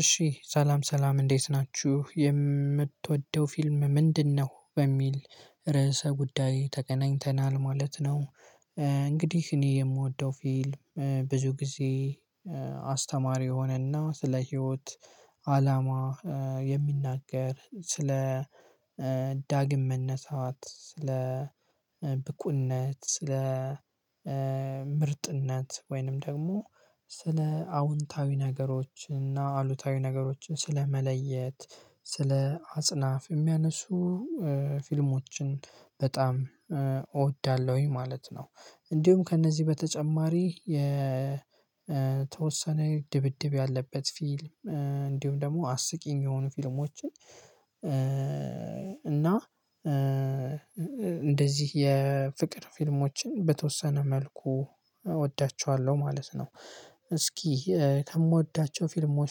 እሺ ሰላም ሰላም እንዴት ናችሁ የምትወደው ፊልም ምንድነው? በሚል ርዕሰ ጉዳይ ተገናኝተናል ማለት ነው። እንግዲህ እኔ የምወደው ፊልም ብዙ ጊዜ አስተማሪ የሆነና ስለ ህይወት አላማ የሚናገር ስለ ዳግም መነሳት ስለ ብቁነት ስለ ምርጥነት ወይንም ደግሞ ስለ አዎንታዊ ነገሮች እና አሉታዊ ነገሮችን ስለመለየት ስለ አጽናፍ የሚያነሱ ፊልሞችን በጣም እወዳለሁኝ ማለት ነው። እንዲሁም ከእነዚህ በተጨማሪ የ የተወሰነ ድብድብ ያለበት ፊልም እንዲሁም ደግሞ አስቂኝ የሆኑ ፊልሞችን እና እንደዚህ የፍቅር ፊልሞችን በተወሰነ መልኩ እወዳቸዋለሁ ማለት ነው። እስኪ ከምወዳቸው ፊልሞች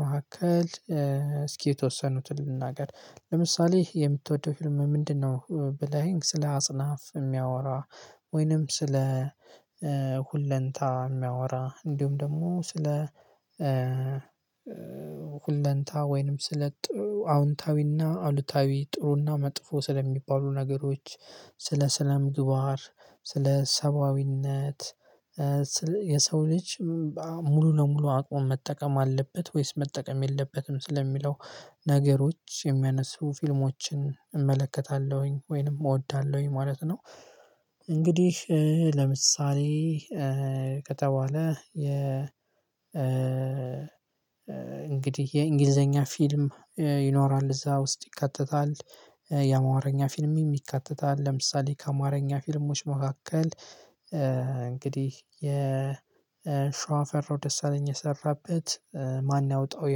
መካከል እስኪ የተወሰኑትን ልናገር ለምሳሌ የምትወደው ፊልም ምንድነው? ብለህ ስለ አጽናፍ የሚያወራ ወይንም ስለ ሁለንታ የሚያወራ እንዲሁም ደግሞ ስለ ሁለንታ ወይንም ስለ አዎንታዊና አሉታዊ ጥሩና መጥፎ ስለሚባሉ ነገሮች ስለ ስነ ምግባር ስለ ሰብአዊነት የሰው ልጅ ሙሉ ለሙሉ አቅም መጠቀም አለበት ወይስ መጠቀም የለበትም ስለሚለው ነገሮች የሚያነሱ ፊልሞችን እመለከታለሁኝ ወይንም እወዳለሁኝ ማለት ነው። እንግዲህ ለምሳሌ ከተባለ የ እንግዲህ የእንግሊዘኛ ፊልም ይኖራል እዛ ውስጥ ይከተታል የአማረኛ ፊልም ይከተታል ለምሳሌ ከአማረኛ ፊልሞች መካከል እንግዲህ የሸዋ ፈራው ደስ አለኝ የሰራበት ማን ያወጣው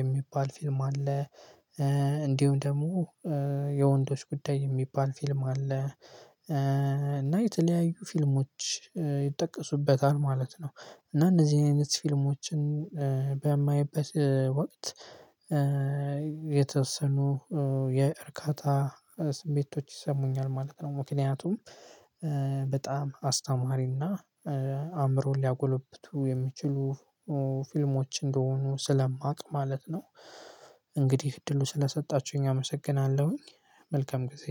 የሚባል ፊልም አለ። እንዲሁም ደግሞ የወንዶች ጉዳይ የሚባል ፊልም አለ። እና የተለያዩ ፊልሞች ይጠቀሱበታል ማለት ነው እና እነዚህ አይነት ፊልሞችን በማይበት ወቅት የተወሰኑ የእርካታ ስሜቶች ይሰሙኛል ማለት ነው። ምክንያቱም በጣም አስተማሪና አእምሮን ሊያጎለብቱ የሚችሉ ፊልሞች እንደሆኑ ስለማቅ ማለት ነው። እንግዲህ እድሉን ስለሰጣችሁኝ አመሰግናለሁኝ መልካም ጊዜ።